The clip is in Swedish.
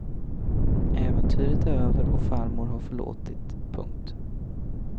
Äventyret är över och farmor har förlåtit. punkt